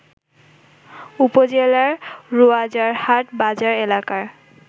উপজেলার রোয়াজারহাট বাজার এলাকায়